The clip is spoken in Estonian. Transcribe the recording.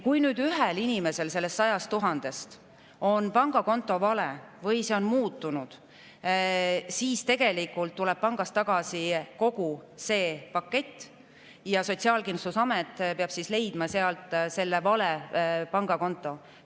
Kui nüüd ühel inimesel 100 000‑st on kontonumber vale või see on muutunud, siis tuleb pangast tagasi kogu see pakett ja Sotsiaalkindlustusamet peab leidma sealt selle vale pangakonto üles.